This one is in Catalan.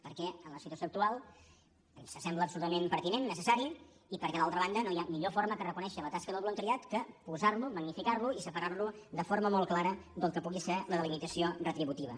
perquè en la situació actual ens sembla absolutament pertinent necessari i perquè d’altra banda no hi ha millor forma que reconèixer la tasca del voluntariat que posarlo magnificarlo i separarlo de forma molt clara del que pugui ser la delimitació retributiva